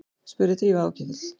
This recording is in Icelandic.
spurði Drífa áhyggjufull.